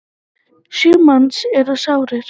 Sjö manns eru sárir.